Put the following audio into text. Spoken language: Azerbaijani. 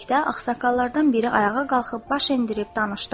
Dedikdə ağsaqqallardan biri ayağa qalxıb baş endirib danışdı.